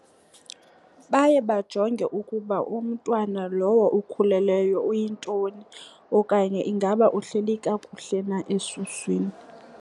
Baye bajonge ukuba umntwana lowo ukhulelweyo uyintoni okanye ingaba uhleli kakuhle na esuswini.